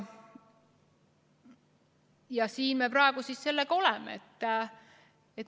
Ja siin me praegu sellega oleme.